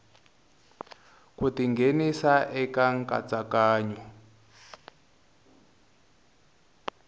ku ti nghenisa eka nkatsakanyo